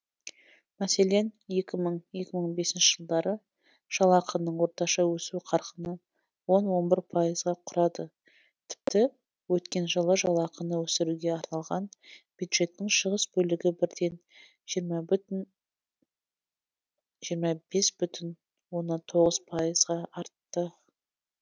мәселен екі мың екі мың бесінші жылдары жалақының орташа өсу қарқыны он он бір пайызға құрады тіпті өткен жылы жалақыны өсіруге арналған бюджеттің шығыс бөлігі бірден жиырма бес бүтін оннан тоғыз пайызға артты